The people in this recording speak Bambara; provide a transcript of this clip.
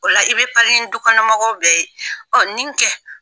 O la i bɛ pari ni dukɔnɔ mɔgɔw bɛɛ ye, ɔ nin kɛ.